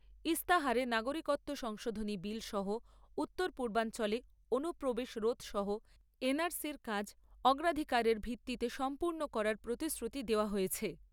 ইস্তাহারে নাগরিকত্ব সংশোধনী বিল সহ উত্তর পূর্বাঞ্চলে অনুপ্রবেশ রোধ সহ এন আর সি র কাজ অগ্রাধিকারের ভিত্তিতে সম্পূর্ণ করার প্রতিশ্রুতি দেওয়া হয়েছে।